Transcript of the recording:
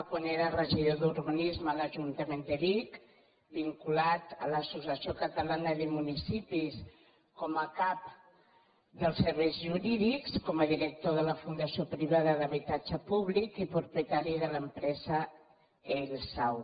quan era regidor d’urbanisme a l’ajuntament de vic vinculat a l’associació catalana de municipis com a cap dels serveis jurídics com a director de la fundació privada d’habitatge públic i propietari de l’empresa eil sau